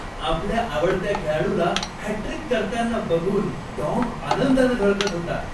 आपल्या आवडत्या खेळाडूला हॅटट्रिक करताना बघून टॉम आनंदानं झळकत होता.